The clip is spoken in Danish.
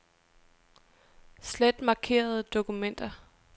Slet markerede dokumenter.